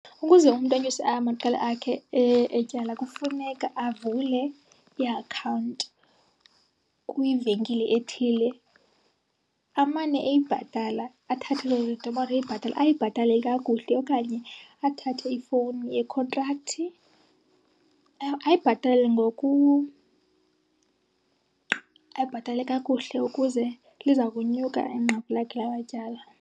Ukuze umntu anyuse amaqela akhe etyala kufuneka avule iakhawunti kwivenkile ethile amane eyibhatala. Athathe loo nto amane eyibhatala, ayibhatale kakuhle. Okanye athathe ifowuni yekhontrakthi ayibhatale , ayibhatale kakuhle ukuze liza kunyuka inqaku lakhe lamatyala.